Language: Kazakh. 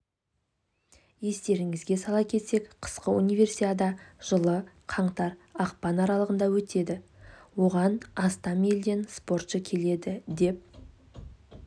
естеріңізге сала кетсек қысқы универсиада жылы қаңтар ақпан аралығында өтеді оған астам елден спортшы келеді деп